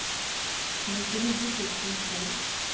nittionio tusen två